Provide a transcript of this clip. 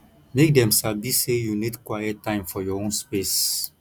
make dem sabi say you need quiet time for your own space